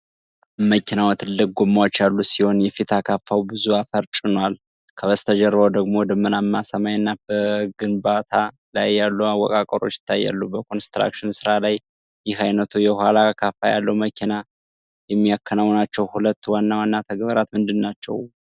መኪናው ትላልቅ ጎማዎች ያሉት ሲሆን የፊት አካፋው ብዙ አፈር ጭኗል፤ ከበስተጀርባው ደግሞ ደመናማ ሰማይና በግንባታ ላይ ያሉ አወቃቀሮች ይታያሉ። በኮንስትራክሽን ሥራ ላይ ይህ ዓይነቱ የኋላ አካፋ ያለው መኪና (Backhoe Loader) የሚያከናውናቸው ሁለት ዋና ዋና ተግባራት ምንድናቸው?